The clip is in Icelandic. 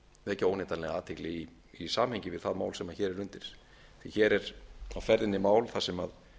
vekja óneitanlega athygli í samhengi við það mál sem hér er undir því hér er á ferðinni mál þar sem